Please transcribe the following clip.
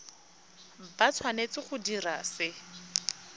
ba tshwanetse go dira se